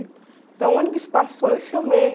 Então o ônibus passou e eu chamei.